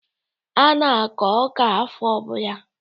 A na-akọ ọka afọ ọbụla.